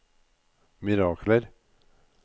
mirakler